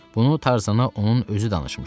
Bunu Tarzana onun özü danışmışdı.